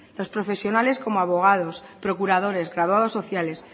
los profesionales como abogados procuradores graduados sociales